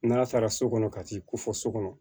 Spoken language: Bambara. N'ala sara so kɔnɔ ka t'i ko fɔ so kɔnɔ